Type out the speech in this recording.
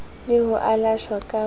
le ho alashwa ka ho